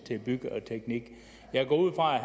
jeg går ud fra at